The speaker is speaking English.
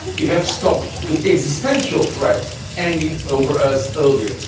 We have stopped the existential threat hanging over us earlier.